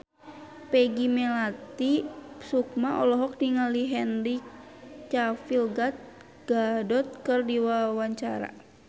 Peggy Melati Sukma olohok ningali Henry Cavill Gal Gadot keur diwawancara